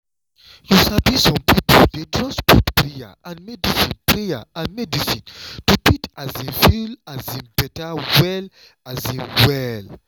you sabi some pipo dey trust both prayer and medicine prayer and medicine to fit um feel um better well um well.